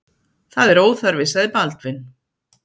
Það er óþarfi, sagði Baldvin.